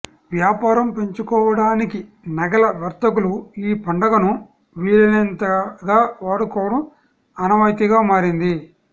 వ్యాపారం పెంచుకోవడానికి నగల వర్తకులు ఈ పండుగను వీలైనంతగా వాడుకోవడం ఆనవాయితీగా మారింది